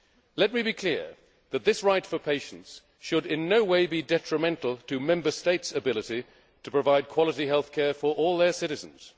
Let me be clear that this right for patients should in no way be detrimental to Member States' ability to provide quality health care for all their citizens.